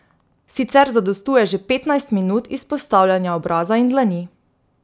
Sicer zadostuje že petnajst minut izpostavljanja obraza in dlani.